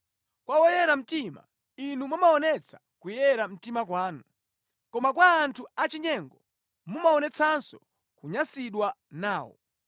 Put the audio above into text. Kwa woyera mtima, Inu mumaonetsa kuyera mtima kwanu, koma kwa anthu achinyengo mumaonetsanso kunyansidwa nawo.